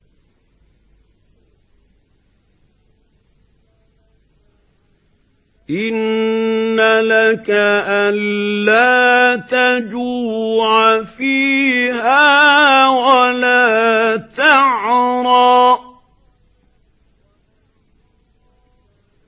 إِنَّ لَكَ أَلَّا تَجُوعَ فِيهَا وَلَا تَعْرَىٰ